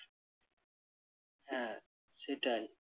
হ্যাঁ সেটাই।